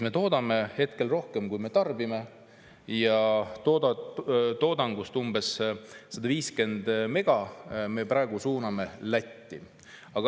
Me toodame hetkel rohkem, kui me tarbime, ja toodangust umbes 150 mega me praegu suuname Lätti.